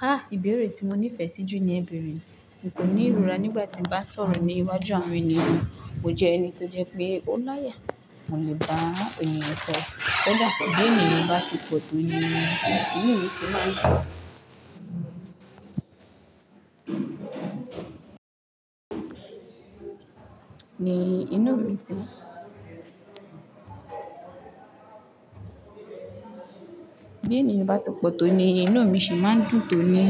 Ha! Ìbéèrè tí mo nífẹ̀ẹ́ sí jù ní ẹ̀beere N kò ní ìrora nígbà tí mo bá ń sọ̀rọ̀ ní iwájú àwọn ènìyàn. Mo jẹ́ ẹni tó jẹ pé ó láyà, mo lè bá ènìyàn sọ̀rọ̀. Koda bí ènìyàn bá ti pọ̀ tó ni inú mi ti máa ń dun si inú mi ti Bí ènìyàn bá ti pọ̀ tó ni inú mi sì máa dùn tó ni,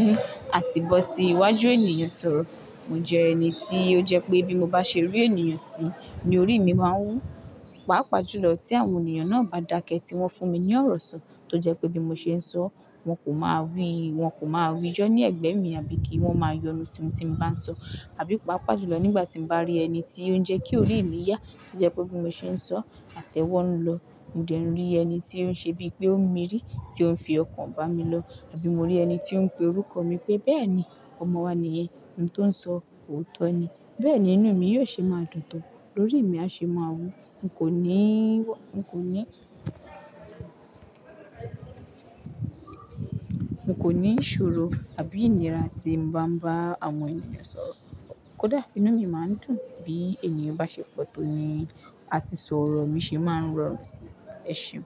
àti bó ti iwájú ènìyàn sọ̀rọ̀. Mo jẹ ẹni tí ó jẹ pé bí mo bá ṣe rí ènìyàn sí, ni orí mi máa wú. Pápà jùlọ tí àwọn ènìyàn náà bá dákẹ́ tí wọ́n fún mi ní ọ̀rọ̀ sọ. Tó jẹ pé bí mo ṣe ń sọ, wọ́n kò máa wí, wọ́n kò máa rijọ́ ní ẹ̀gbẹ́ mi àbí kí wọ́n máa yọnu tí mo tí bá ń sọ. Àbí paapaa julọ nígbà tí mo bá rí ẹni tí ó ń jẹ́ kí orí ì mi yá, tó jẹ́ pé bí mo ṣe ń sọ, àtẹ́ wọ́n ń lọ. Mode nrí ẹni tí ó ń ṣe bí i pé ó ń mirí, tí ó ń fi ọkàn bá mi lọ. Àbí mo rí ẹni tí ó ń pe orúkọ mi pé, "Bẹ́ẹ̀ ni, ọmọ wa nìyẹn, ohun tó ń sọ òótọ́ ni." Bẹ́ẹ̀ ni inú mi yóò ṣe máa dùn tán. Lórí mi a ṣe máa wú. N kò ní n kò ní ìṣòro àbí ìnira tí mo máa ń bá àwọn ènìyàn sọ̀rọ̀. Kódà inú mi máa ń dùn bí ènìyàn bá ṣe pọ̀ tó ni àti sọ̀rọ̀ mi sì máa ń rọrùn sí, ẹṣeun.